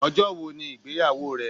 Ọjọ́ wo ni ìgbéyàwó rẹ?